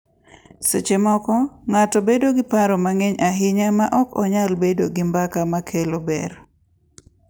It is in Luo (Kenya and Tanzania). Seche moko, ng’ato bedo gi paro mang’eny ahinya ma ok nyal bedo gi mbaka ma kelo ber.